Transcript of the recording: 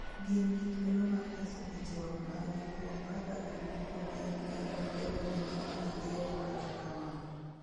gin gi thuolo mar nyiso ich wang' margi kuom kaka gik moko gin kendo kedone gima gigeno kata kamano